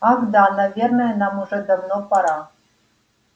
ах да наверное нам уже давно пора